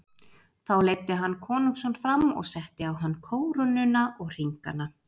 Þá leiddi hann konungsson fram og setti á hann kórónuna og hringana.